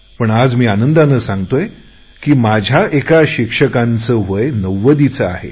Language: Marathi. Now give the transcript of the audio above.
पण आज मी आनंदाने सांगतोय की माझ्या एका शिक्षकाचे वय नव्वदीचे आहे